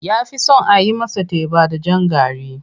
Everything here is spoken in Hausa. Ya fi son a yi masa teba da jan gari.